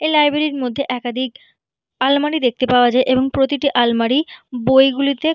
এই লাইব্রেরি মধ্যে একাদিক আলমারি দেখতে পাওয়া যাই এবং প্রতিটি আলমারি বই গুলোতে--